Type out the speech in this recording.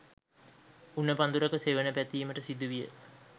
උණ පදුරක සෙවණ පැතීමට සිදුවිය.